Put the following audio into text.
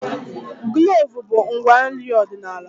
Kloovu bụ ngwa nri ọdịnala